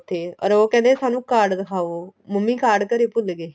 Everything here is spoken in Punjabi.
ਉੱਥੇ ਅਰ ਉਹ ਕਹਿੰਦਾ ਸਾਨੂੰ card ਦਿਖਾਓ ਮੰਮੀ card ਘਰੇ ਭੁੱਲ ਗਏ